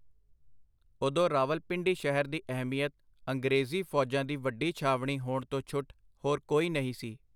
ਓਦੋਂ ਰਾਵਲਪਿੰਡੀ ਸ਼ਹਿਰ ਦੀ ਅਹਿਮੀਅਤ ਅੰਗਰੇਜ਼ੀ ਫੌਜਾਂ ਦੀ ਵੱਡੀ ਛਾਵਣੀ ਹੋਣ ਤੋਂ ਛੁੱਟ ਹੋਰ ਕੋਈ ਨਹੀਂ ਸੀ.